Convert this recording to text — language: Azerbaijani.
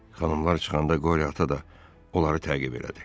Xanımlar çıxanda qoriya ata da onları təqib elədi.